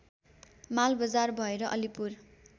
मालबजार भएर अलीपुर